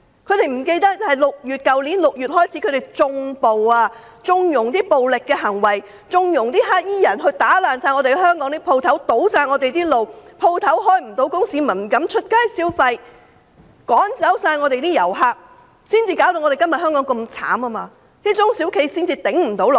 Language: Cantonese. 他們忘記自去年6月起，他們縱容暴力行為，縱容黑衣人破壞香港店鋪、堵塞道路，令店鋪無法營業，市民不敢上街消費，趕走了所有遊客，今天香港才會這麼淒慘，中小企才會無法支撐下去。